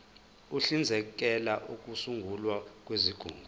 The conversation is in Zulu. uhlinzekela ukusungulwa kwezigungu